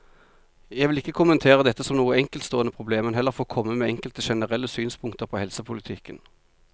Jeg vil ikke kommentere dette som noe enkeltstående problem, men heller få komme med enkelte generelle synspunkter på helsepolitikken.